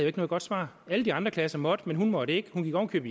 ikke noget godt svar alle de andre klasser måtte men hun måtte ikke hun gik oven